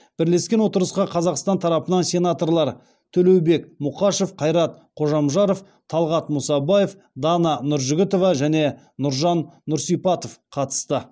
бірлескен отырысқа қазақстан тарапынан сенаторлар төлеубек мұқашев қайрат қожамжаров талғат мұсабаев дана нұржігітова және нұржан нұрсипатов қатысты